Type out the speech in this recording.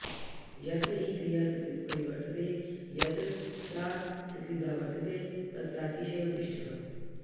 यत्र हि क्रिया सकृत् प्रवर्तते यत्र चासकृदावर्तते तत्रातिशयो दृष्टः